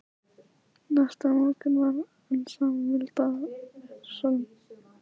Næsta morgun var enn sama milda vetrarsólin.